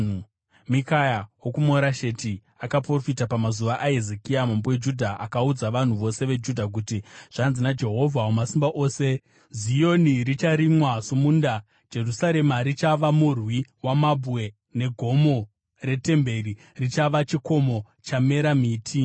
“Mikaya wokuMorasheti akaprofita pamazuva aHezekia mambo weJudha. Akaudza vanhu vose veJudha kuti, ‘Zvanzi naJehovha Wamasimba Ose: “ ‘Zioni richarimwa somunda, Jerusarema richava murwi wamabwe, negomo retemberi richava chikomo chakamera miti.’